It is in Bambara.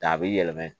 A bɛ yɛlɛma